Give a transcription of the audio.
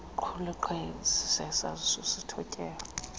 kuqulathwe sisaziso sothotyelo